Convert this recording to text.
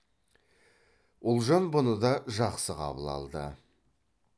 ұлжан бұны да жақсы қабыл алды